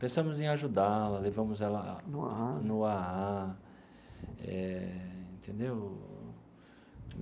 Pensamos em ajudá-la, levamos ela. No AA. No AA, eh entendeu?